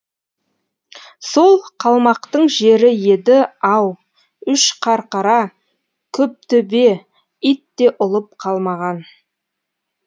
сол қалмақтың жері еді ау үш қарқара көптөбеит те ұлып қалмаған